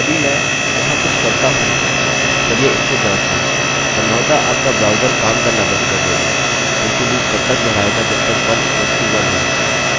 संभवतः आपका ब्राउज़र काम करना बंद कर देगा क्योंकि लूप तब तक दोहराएगा जब तक 1=1 और अनंत बार के लिए 1 हमेशा 1 के बराबर होगा